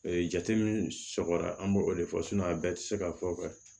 jate min sɔgɔra an b'o de fɔ a bɛɛ tɛ se ka fɔ